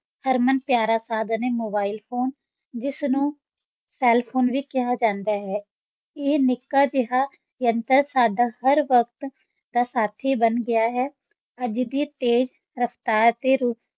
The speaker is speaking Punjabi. ਹਰਮਨ-ਪਿਆਰਾ ਸਾਧਨ ਹੈ mobile phone ਜਿਸ ਨੂੰ cell phone ਵੀ ਕਿਹਾ ਜਾਂਦਾ ਹੈ, ਇਹ ਨਿੱਕਾ ਜਿਹਾ ਯੰਤਰ ਸਾਡਾ ਹਰ ਵਕਤ ਦਾ ਸਾਥੀ ਬਣ ਗਿਆ ਹੈ, ਅੱਜ ਦੀ ਤੇਜ਼ ਰਫ਼ਤਾਰ ਤੇ,